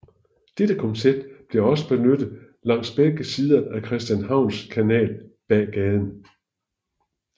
Dette koncept blev også benyttet langs begge sider af Christianshavns Kanal bag gaden